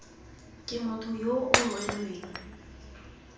ke motho yo o rweleng